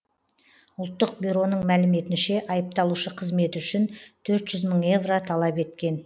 ұлттық бюроның мәліметінше айыпталушы қызметі үшін төрт жүз мың евро талап еткен